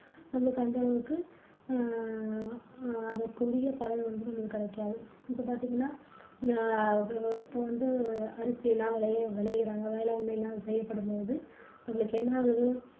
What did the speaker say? நமக்கு அந்தளவுக்கு எர் அஹ் அதற்குரிய பலன் வந்து கிடைக்காது இப்போ பாத்தீங்கன்னா ஹம் இப்போ வந்து அரிசி எல்லாம் விலை விலையிறாங்க வேளாண்மை எல்லாம் செய்யப்படும்போது நம்மளுக்கு என்ன ஆகுது?